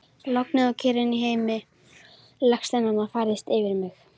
Lognið og kyrrðin í heimi legsteinanna færist yfir mig.